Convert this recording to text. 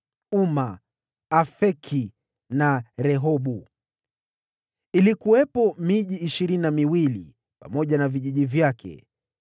Uma, Afeki na Rehobu. Ilikuwepo miji ishirini na miwili, pamoja na vijiji vyake.